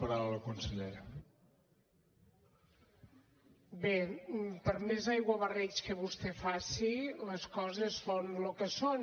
bé per més aiguabarreig que vostè faci les coses són lo que són